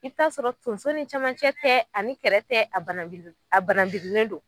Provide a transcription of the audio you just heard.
I bi t'a sɔrɔ tonso ni camancɛ tɛ ani kɛrɛ tɛ a bananbiri a bananbirilen don